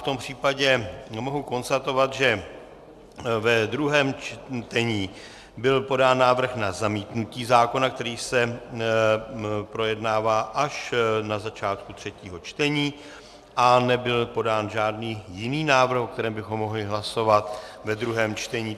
V tom případě mohu konstatovat, že ve druhém čtení byl podán návrh na zamítnutí zákona, který se projednává až na začátku třetího čtení, a nebyl podán žádný jiný návrh, o kterém bychom mohli hlasovat ve druhém čtení.